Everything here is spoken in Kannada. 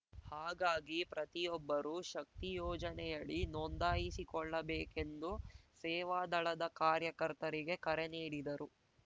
ಹಾಗಾಗಿ ಪ್ರತಿಯೊಬ್ಬರೂ ಶಕ್ತಿ ಯೋಜನೆಯಡಿ ನೋಂದಾಯಿಸಿಕೊಳ್ಳಬೇಕೆಂದು ಸೇವಾದಳದ ಕಾರ್ಯಕರ್ತರಿಗೆ ಕರೆ ನೀಡಿದರು